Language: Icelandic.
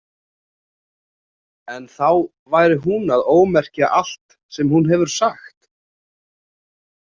En þá væri hún að ómerkja allt sem hún hefur sagt.